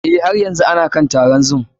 Eh, har yanzu ana kan taron zoom ɗin.